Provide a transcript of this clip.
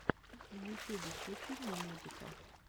в ютюбе включи мне музыка